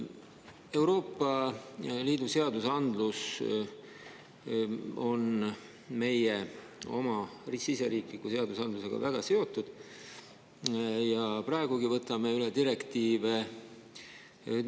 Euroopa Liidu seadusandlus on meie oma riigisisese seadusandlusega väga seotud, ja praegugi võtame üle direktiive.